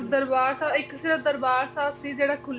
ਪਰ ਦਰਬਾਰ ਸਾਹਿਬ ਇੱਕ ਸਿਰਫ ਦਰਬਾਰ ਸਾਹਿਬ ਸੀ ਜਿਹੜਾ ਖੁੱਲਿਆ